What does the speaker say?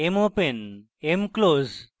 mopen mclose